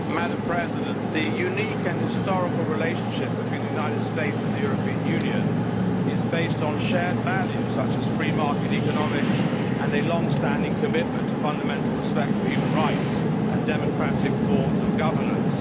Madam President, the unique and historical relationship between the United States and the European Union is based on shared values, such as free market economics and a long standing commitment to fundamental respect for human rights and democratic forms of governance.